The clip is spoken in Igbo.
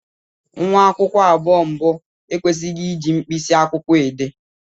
Nwa akwụkwọ abụọ mbụ ekwesịghị iji mkpịsị akwụkwọ dee.